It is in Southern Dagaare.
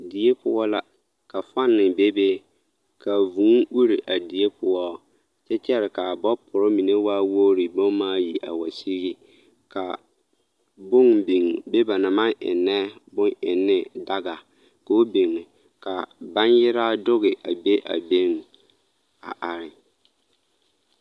Die poɔ la ka fani bebe ka vūū uri a die poɔ kyɛ kyɛre k'a bopuri mine waa wogiri bomaayi a wa sigi ka bone biŋ, be ba naŋ maŋ ennɛ boŋ ennee daga k'o biŋ ka baŋgyeraa doge a be a beŋ a are.